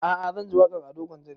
A'a zan ji waƙan ado gwanja ne